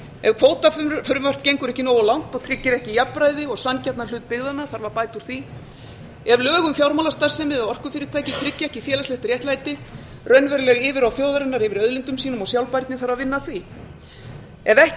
ef kvótafrumvarp gengur ekki nógu langt og tryggir ekki jafnræði og sanngjarnan hlut byggðanna þarf að bæta úr því ef lög um fjármálastarfsemi og orkufyrirtæki tryggja ekki félagslegt réttlæti raunveruleg yfirráð þjóðarinnar yfir auðlindum sínum og sjálfbærni þarf að vinna að því ef ekki